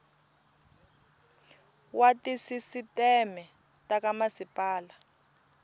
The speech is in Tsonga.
wa tisisiteme ta ka masipala